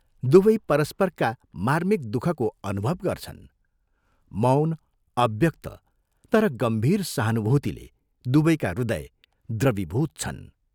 दुवै परस्परका मार्मिक दुःखको अनुभव गर्छन् मौन अव्यक्त तर गम्भीर सहानुभूतिले दुवैका हृदय द्रवीभूत छन्।